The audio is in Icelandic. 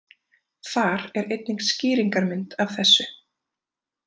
Þar er einnig skýringarmynd af þessu.